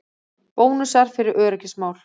Bónusar fyrir öryggismál